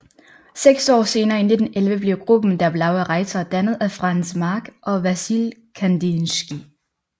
Seks år senere i 1911 blev gruppen Der Blaue Reiter dannet af Franz Marc og Vasilij Kandinskij